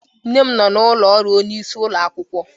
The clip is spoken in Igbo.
Nne m nọ n'ụlọ ọrụ onyeisi ụlọ akwụkwọ.